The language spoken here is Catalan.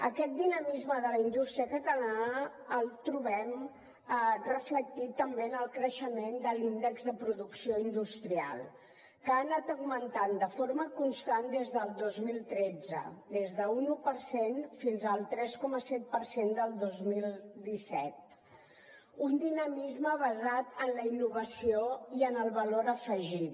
aquest dinamisme de la indústria catalana el trobem reflectit també en el creixement de l’índex de producció industrial que ha anat augmentant de forma constant des del dos mil tretze des d’un un per cent fins al tres coma set per cent del dos mil disset un dinamisme basat en la innovació i en el valor afegit